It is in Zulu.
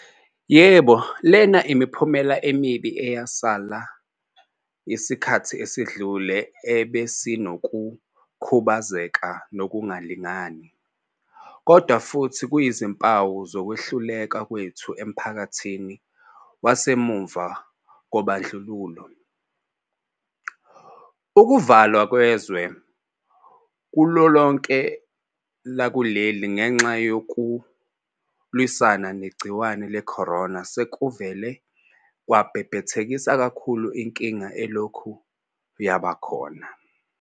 Yebo, lena imiphumela emibi eyasala yesikhathi esedlule ebesinokukhubazeka nokungalingani. Kodwa futhi kuyizimpawu zokwehluleka kwethu emphakathini wasemva kobandlululo. Ukuvalwa kwezwe kulolonke lakuleli ngenxa yokulwisana negciwane le-corona sekuvele kwabhebhethekisa kakhulu inkinga elokhu yabakhona.